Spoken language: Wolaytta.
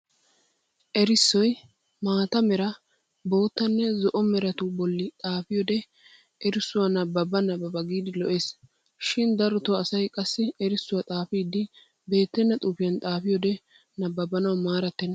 Erissoy mata Mera bottanne zo"o meratu bolli xaafiyoode erissuwa nabbaba nabbaba giidi lo'es. Shin darotoo asay qassi erissuwa xaafidi beettenna xuufiyan xaafiyoode nabbabanawu maarattenna.